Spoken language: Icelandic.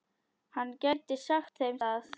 Hann gæti sagt þeim það.